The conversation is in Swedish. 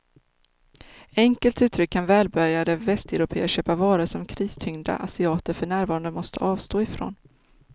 Enkelt uttryckt kan välbärgade västeuropéer köpa varor som kristyngda asiater för närvarande måste avstå ifrån.